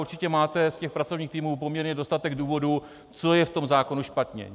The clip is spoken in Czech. Určitě máte z těch pracovních týmů poměrně dostatek důvodů, co je v tom zákonu špatně.